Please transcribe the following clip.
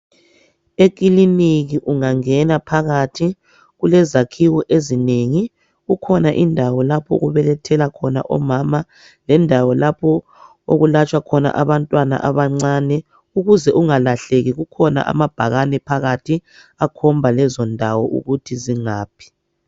Ekiliniki ungangena phakathi kulezakhiwo ezinengi. Kukhona indawo lapho okubelethela khona omama lendawo lapho okulatswa khona abantwana abancane. Ukuze ungalahleki kukhona amabhakane phakathi akhomba lezo ndawo ukuthi zingaphi.